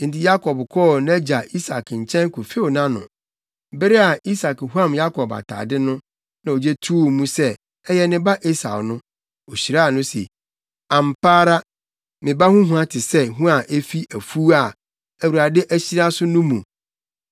Enti Yakob kɔɔ nʼagya Isak nkyɛn kofew nʼano. Bere a Isak huam Yakob atade mu, na ogye too mu sɛ, ɛyɛ ne ba Esau no, ohyiraa no se, “Ampa ara! Me ba ho hua te sɛ hua a efi afuw a Awurade ahyira so no mu.